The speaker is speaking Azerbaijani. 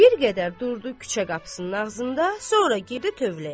Bir qədər durdu küçə qapısının ağzında, sonra getdi tövləyə.